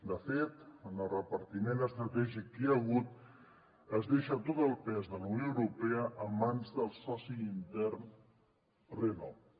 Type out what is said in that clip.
de fet en el repartiment estratègic que hi ha hagut es deixa tot el pes de la unió europea en mans del soci intern renault